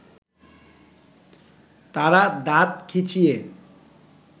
তারা দাঁত খিচিয়ে